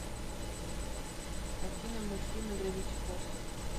афина мультфильмы гравити фолз